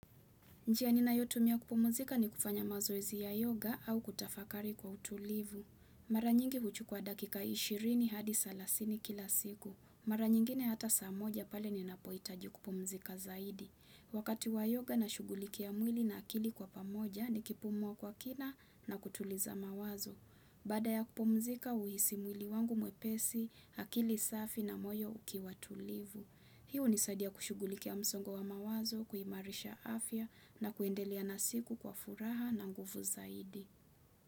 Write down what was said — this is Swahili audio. Njia ninayotumia kupumzika ni kufanya mazoezi ya yoga au kutafakari kwa utulivu. Mara nyingi huchukua dakika 20 hadi salasini kila siku. Mara nyingine hata saa moja pale ninapohitaji kupumzika zaidi. Wakati wa yoga nashughulikia mwili na akili kwa pamoja nikipumua kwa kina na kutuliza mawazo. Baada ya kupumzika, huhisi mwili wangu mwepesi, akili safi na moyo ukiwa tulivu. Hii hunisadia kushugulikia msongo wa mawazo, kuimarisha afya na kuendelea nasiku kwa furaha na nguvu zaidi.